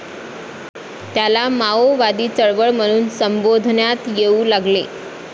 त्याला माओवादी चळवळ म्हणून संबोधण्यात येऊ लागले